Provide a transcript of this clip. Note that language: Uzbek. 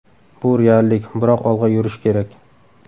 Bu reallik, biroq olg‘a yurish kerak.